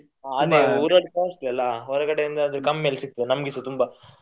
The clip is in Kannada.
ಹ ಊರಲ್ಲಿ costly ಅಲ್ಲಾ ಹೊರಗಡೆಯಿಂದಾದ್ರೆ ಕಮ್ಮಿಯಲ್ಲಿ ಸಿಗ್ತದೆ ನಮ್ಗೆಸ ತುಂಬಾ.